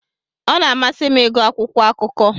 Ọ na-amasị m ịgụ akwụkwọ akụkọ.